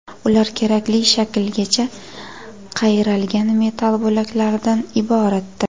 Ular kerakli shaklgacha qayralgan metall bo‘laklaridan iboratdir.